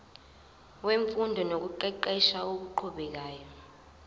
wemfundo nokuqeqesha okuqhubekayo